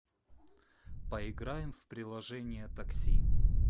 поиграем в приложение такси